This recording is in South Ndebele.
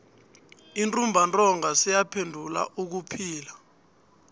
untumbantonga seyaphenduka ubuphilo